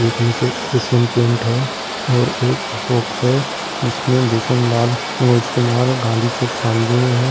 एक Asian paint है और एक अशोकस है जिसने भूषण लाल मनोज कुमार गांधी चौक शामली में है।